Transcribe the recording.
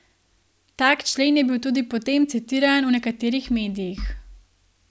Tak člen je bil tudi potem citiran v nekaterih medijih.